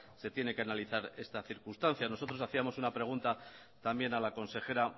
se tiene que analizar esta circunstancia nosotros hacíamos una pregunta también a la consejera